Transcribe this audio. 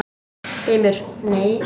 GRÍMUR: Nei?